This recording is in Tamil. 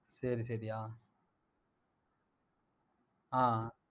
சரி சரிய்யா ஆஹ்